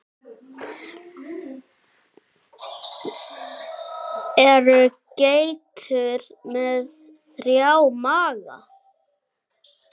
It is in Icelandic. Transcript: Eru geitur með þrjá maga?